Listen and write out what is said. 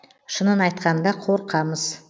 шынын айтқанда қорқамыз